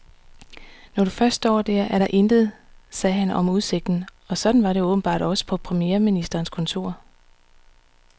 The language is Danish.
Når du først står der, er der intet, sagde han om udsigten, og sådan var det åbenbart også på premierministerens kontor.